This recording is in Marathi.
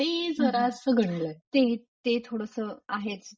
ते जरा unintelligile ते थोडसं आहेच.